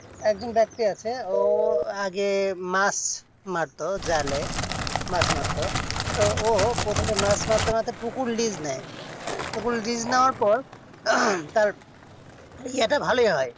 একজন ব্যাক্তি আছে যে মাছ মারতো জালে মাছ মারতো তো ও প্রথমে মাছ মারতো তো ও মাছ মারতে মারতে পুকুর লেজ নেই তো পুকুর লিজ নেওয়ার পর ভালোই হয়